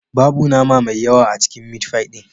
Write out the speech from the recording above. Babu nama mai yawa a cikin mitfai ɗin